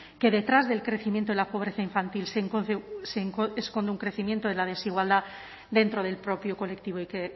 que detrás del crecimiento de la pobreza infantil se esconde un crecimiento de la desigualdad dentro del propio colectivo